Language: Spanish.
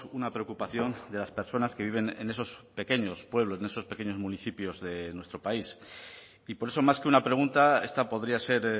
una preocupación de las personas que viven en esos pequeños pueblos en esos pequeños municipios de nuestro país y por eso más que una pregunta esta podría ser